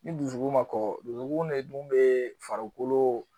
Ni dusukun ma kɔkɔ dusukun de dun bɛ farikolo